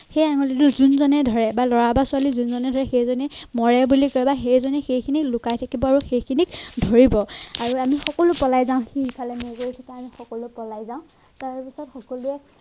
সেই আঙুলিটো জোনজনে ধৰে বা লৰা বা ছোৱালী জোনজনে দৰে সেইজনে মৰে বুলি সেই জনে সেই খিনিত লুকাই থাকিব আৰু সেই খিনিক ধৰিব আৰু আমি সকলো পলাই যাওঁ পলাই যাওঁ তাৰ পিছত সকলোৱে